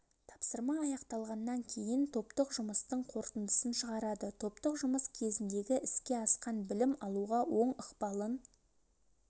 тапсырма аяқталғаннан кейін топтық жұмыстың қорытындысын шығарады топтық жұмыс кезіндегі іске асқан білім алуға оң ықпалын